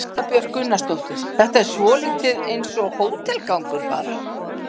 Erla Björg Gunnarsdóttir: Þetta er svolítið eins og hótelgangur bara?